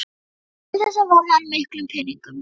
Til þessa varði hann miklum peningum.